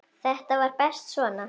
Þetta var best svona.